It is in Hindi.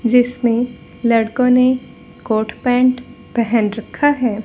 जिसमें लड़कों ने कोट पैंट पहन रखा है।